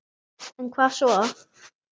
En hvað svo?